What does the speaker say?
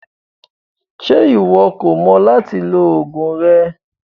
Ṣe iwọ kò mọ lati lo ogun rẹ?